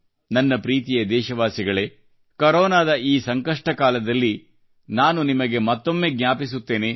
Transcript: ನನ್ನ ಪ್ರೀತಿಯ ದೇಶವಾಸಿಗಳೇ ಕೊರೊನಾದ ಈ ಸಂಕಷ್ಟ ಕಾಲದಲ್ಲಿ ನಾನು ನಿಮಗೆ ಮತ್ತೊಮ್ಮೆ ಜ್ಞಾಪಿಸುತ್ತೇನೆ